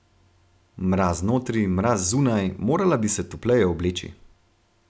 Mraz notri, mraz zunaj, morala bi se topleje obleči.